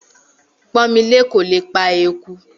Pọ́nmilé kò lè pa eku